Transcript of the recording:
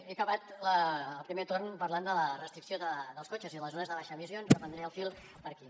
he acabat el primer torn parlant de la restricció dels cotxes i les zones de baixes emissions reprendré el fil per aquí